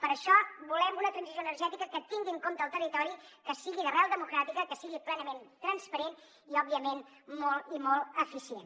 per això volem una transició energètica que tingui en compte el territori que sigui d’arrel democràtica que sigui plenament transparent i òbviament molt i molt eficient